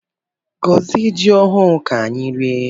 Gozie jị ọhụụ ka anyị rie!